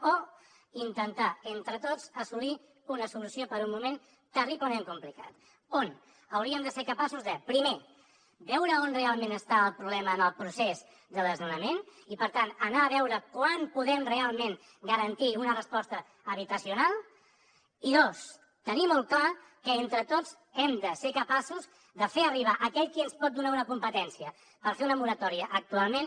o intentar entre tots assolir una solució per un moment terriblement complicat on hauríem de ser capaços de primer veure on realment està el problema en el procés de desnonament i per tant anar a veure quan podem realment garantir una resposta habitacional i dos tenir molt clar que entre tots hem de ser capaços de fer ho arribar a aquell qui ens pot donar una competència per fer una moratòria actualment